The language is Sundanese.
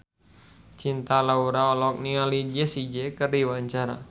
Cinta Laura olohok ningali Jessie J keur diwawancara